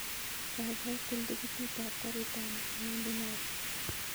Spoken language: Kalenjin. Kaikai til tiketit ab garit ab maat newendi nairobi